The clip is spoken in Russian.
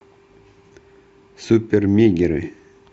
супермегеры